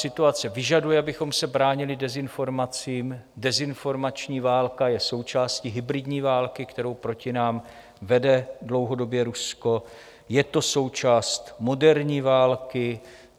Situace vyžaduje, abychom se bránili dezinformacím, dezinformační válka je součástí hybridní války, kterou proti nám vede dlouhodobě Rusko, je to součást moderní války.